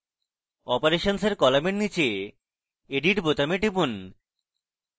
operations কলামের নীচে edit বোতামে টিপুন